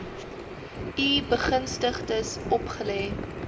u begunstigdes opgelê